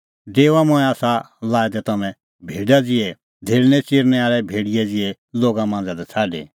डेओआ मंऐं आसा लाऐ दै तम्हैं भेडा ज़िहै धेल़णै च़िरनैं आल़ै भेड़ियै ज़िहै लोगा मांझ़ा लै छ़ाडी